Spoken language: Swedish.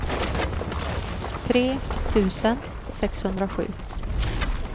tre tusen sexhundrasju